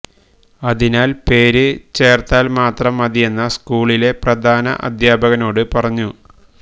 അതിനാല് പേര് ചേര്ത്താല് മാത്രം മതിയെന്ന് സ്കൂളിലെ പ്രധാനാദ്ധ്യാപകനോട് പറഞ്ഞു